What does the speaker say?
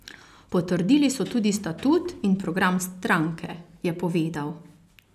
Potrdili so tudi statut in program stranke, je povedal.